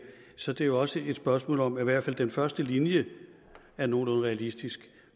så er det jo også et spørgsmål om at i hvert fald den første linje er nogenlunde realistisk